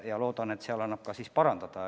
Ma loodan, et sellega annab ka asja parandada.